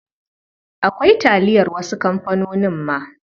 Akwai taliyar wasu kamfanonin ma.